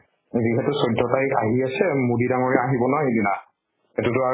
যিহেতু চৈধ্য় তাৰিখ আহি আছে, মোদী ডাংৰীয়া আহিব না সেইদিনা, সেইতোটো আৰু